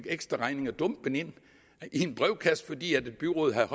ekstraregninger dumpende ind i brevkassen fordi byrådet havde